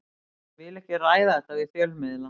Ég vil ekki ræða þetta við fjölmiðla.